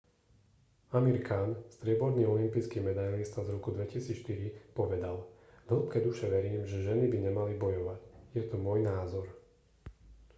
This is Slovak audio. amir khan strieborný olympijský medailista z roku 2004 povedal v hĺbke duše verím že ženy by nemali bojovať je to môj názor